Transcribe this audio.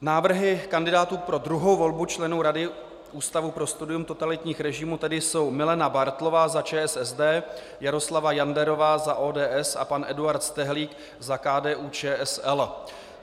Návrhy kandidátů pro druhou volbu členů Rady Ústavu pro studium totalitních režimů tedy jsou: Milena Bártlová za ČSSD, Jaroslava Janderová za ODS a pan Eduard Stehlík za KDU-ČSL.